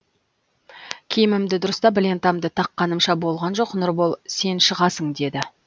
киімімді дұрыстап лентамды таққанымша болған жоқ нұрбол сен шығасың деді